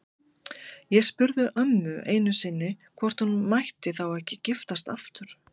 Ég spurði ömmu einu sinni hvort hún mætti þá ekki giftast aftur.